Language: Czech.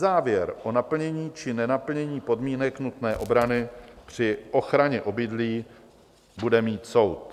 Závěr o naplnění či nenaplnění podmínek nutné obrany při ochraně obydlí bude mít soud.